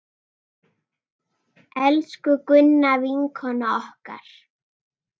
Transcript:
Elsku Gunna, vinkona okkar!